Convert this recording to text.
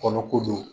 Kɔnɔ kojugu